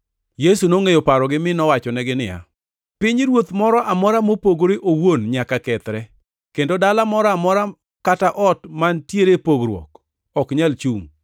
Yesu nongʼeyo parogi mi nowachonegi niya, “Pinyruoth moro amora mopogore owuon nyaka kethre, kendo dala moro amora kata ot mantiere pogruok ok nyal chungʼ.